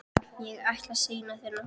Ég ætla að sýna þér nokkuð.